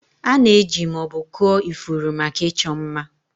A na-eji ma ọ bụ kụọ ifuru maka ịchọ mma.